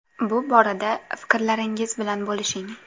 Bu boradagi fikrlaringiz bilan bo‘lishing.